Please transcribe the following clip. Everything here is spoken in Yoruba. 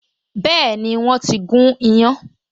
Been, wọ́n ti gún iyán